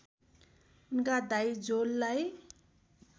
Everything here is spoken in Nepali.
उनका दाइ जोललाई